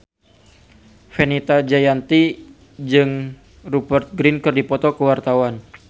Fenita Jayanti jeung Rupert Grin keur dipoto ku wartawan